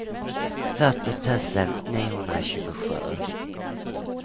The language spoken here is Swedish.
fyrtio tusen niohundratjugosju